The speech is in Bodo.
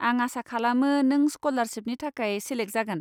आं आसा खालामो नों स्क'लारशिपनि थाखाय सेलेक जागोन।